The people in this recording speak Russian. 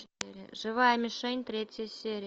живая мишень третья серия